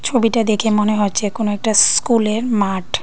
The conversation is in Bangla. ছবিটা দেখে মনে হচ্ছে কোন একটা স্কুলের মাঠ।